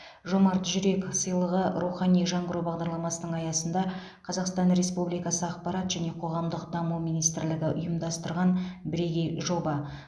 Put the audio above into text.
жомарт жүрек сыйлығы рухани жаңғыру бағдарламасының аясында қазақстан республикасы ақпарат және қоғамдық даму министрлігі ұйымдастырған бірегей жоба